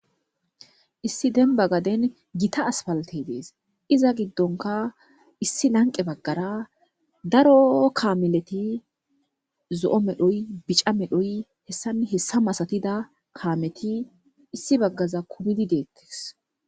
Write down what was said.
Issi denba gaden gita aspaltey de'es; iza gidonkka issi lanqe bagaara daro kaameleti zo'o medhoy, bica medhoy hessanne hessa masatida kaameti issi baggaza kumidi de'etees.